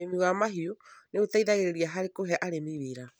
Ũrĩmi wa mahiũ nĩ ũteithagĩrĩrĩa harĩ kũhe arĩmi wĩra.